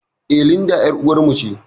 Eh, Linda ƴar uwar mu ce